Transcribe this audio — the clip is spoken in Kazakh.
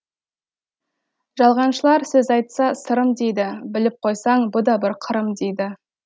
жалғаншылар сөз айтса сырым дейді біліп қойсаң бұ да бір қырым дейді